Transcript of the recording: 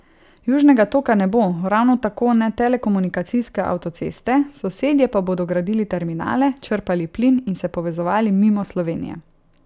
Južnega toka ne bo, ravno tako ne telekomunikacijske avtoceste, sosedje pa bodo gradili terminale, črpali plin in se povezovali mimo Slovenije.